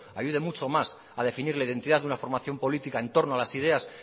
ayude mucho más a definir la identidad de una formación política en torno a las ideas